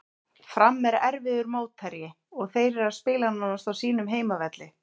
Fram er erfiður mótherji og þeir eru að spila nánast á sínum heimavelli.